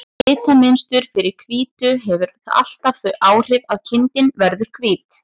Litamynstur fyrir hvítu hefur alltaf þau áhrif að kindin verður hvít.